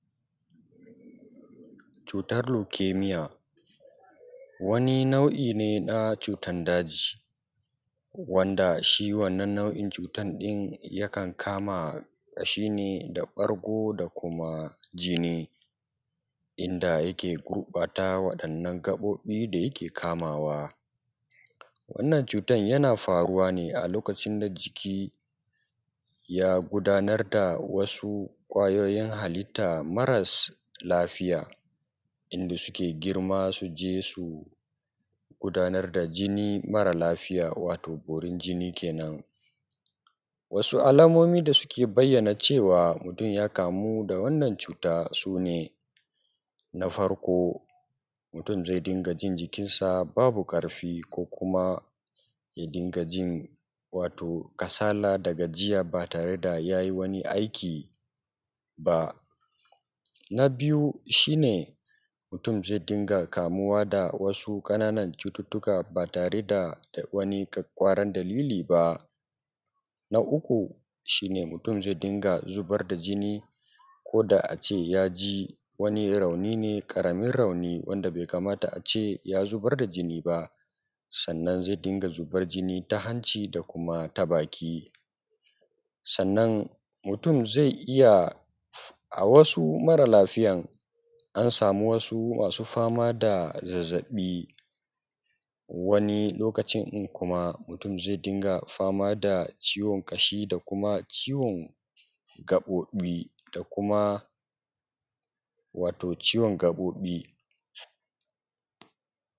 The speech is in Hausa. cutar leukemia wani nau’i ne na cutar daji wanda shi wannan nau’in cutar ɗin yakan kama ƙashi ne da ɓargo da kuma jini inda yake gurɓata wannan gaɓoɓi da yake kamawa wannan cutar yana faruwa ne a lokacin da jiki ya gudanar da wasu kwayoyin halitta maras lafiya inda suke girma su je su gudanar da jini mara lafiya wato borin jini kenan wasu alamomi da suke bayyana cewa mutum ya kamu da wannan cuta sune na farko mutum zai dinga jin jikin sa babu karfi kuma ya dinga jin kasala da gajiya ba tare da ya yi wani aiki ba na biyu shi ne mutum zai dinga kamuwa da wasu ƙananan cututtuka ba tare da wani ƙwaƙƙwaran dalili ba na uku shi ne mutum zai dinga zubar da jini ko da ace yaji wani rauni ne karamin rauni wanda bai kamata ace ya zubar da jini ba sannan zai dinga zubar jini ta hanci da kuma ta baki sannan mutum zai iya a wasu mara lafiyan an samu wasu masu fama da zazzaɓi wani lokacin ɗin kuma mutum zai dinga fama da ciwon ƙashi da kuma ciwon gaɓoɓi wato ciwon gaɓoɓi